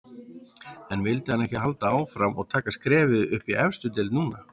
En vildi hann ekki halda áfram og taka skrefið upp í efstu deild núna?